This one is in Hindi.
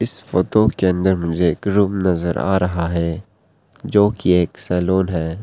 इस फोटो के अंदर मुझे एक रूम नजर आ रहा है जो की एक सलून है।